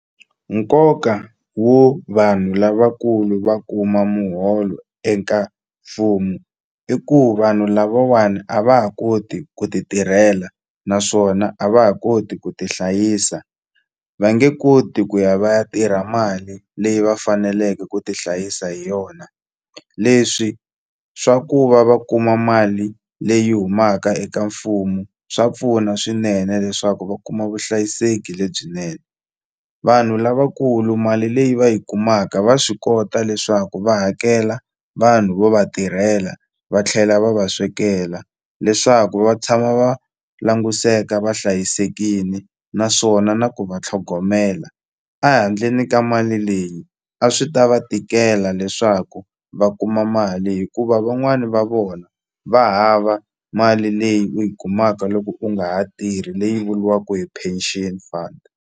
Nkoka wo vanhu lavakulu va kuma muholo eka mfumo i ku vanhu lavawani a va ha koti ku ti tirhela naswona a va ha koti ku tihlayisa va nge koti ku ya va ya tirha mali leyi va faneleke ku ti hlayisa hi yona leswi swa ku va va kuma mali leyi humaka eka mfumo swa pfuna swinene leswaku va kuma vuhlayiseki lebyinene vanhu lavakulu mali leyi va yi kumaka va swi kota leswaku va hakela vanhu vo va tirhela va tlhela va va swekela leswaku va tshama va languseka va hlayisekini naswona na ku va tlhogomela a handleni ka mali leyi a swi ta va tikela leswaku va kuma mali hikuva van'wani va vona va hava mali leyi u yi kumaka loko u nga ha tirhi leyi vuliwaku hi pension fund.